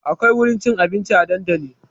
Akwai wurin cin abinci a dandali